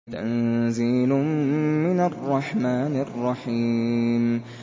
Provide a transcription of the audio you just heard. تَنزِيلٌ مِّنَ الرَّحْمَٰنِ الرَّحِيمِ